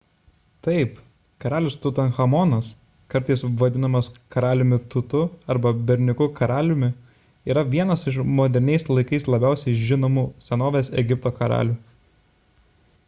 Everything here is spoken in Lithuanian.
taip karalius tutanchamonas kartais vadinamas karaliumi tutu arba berniuku karaliumi yra vienas iš moderniais laikais labiausiai žinomų senovės egipto karalių